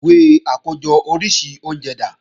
Ìwé àkójọ oríṣi oúnjẹ dà?